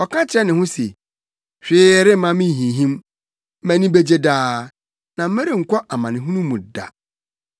Ɔka kyerɛ ne ho se: “Hwee remma minhinhim; mʼani begye daa, na merenkɔ amanehunu mu da.”